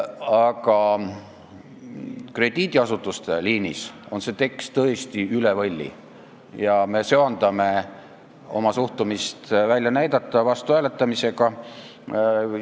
Aga krediidiasutuste liinis on see tekst tõesti üle võlli ja me söandame oma suhtumist välja näidata vastuhääletamisega.